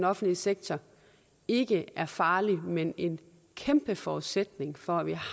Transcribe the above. offentlige sektor ikke er farlig men en kæmpe forudsætning for at vi